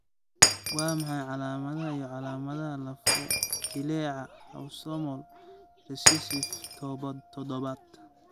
Waa maxay calamadaha iyo calamadaha lafo-jileeca autosomal recessive todobad?